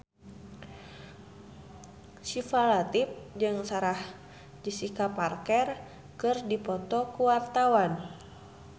Syifa Latief jeung Sarah Jessica Parker keur dipoto ku wartawan